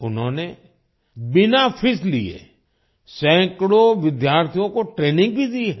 उन्होंने बिना फीस लिए सैकड़ों विद्यार्थियों को ट्रेनिंग भी दी है